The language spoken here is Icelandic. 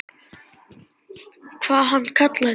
Hvað hann kallar þig?